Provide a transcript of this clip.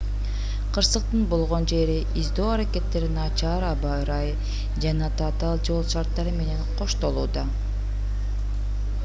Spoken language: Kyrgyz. кырсыктын болгон жерин издөө аракеттери начар аба ырайы жана татаал жол шарттары менен коштолууда